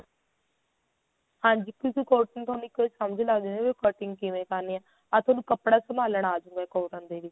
ਹਾਂਜੀ ਕਿਉਂਕਿ cotton ਤੋਂ ਥੋਨੂੰ ਇੱਕ ਸਮਝ ਲੱਗਜੁ ਵੀ cutting ਕਿਵੇਂ ਕਰਨੀ ਏ ਅਰ ਤੁਹਾਨੂੰ ਕੱਪੜਾ ਸੰਭਾਲਣਾ ਅਜੂਗਾ cotton ਦੇ ਵਿੱਚ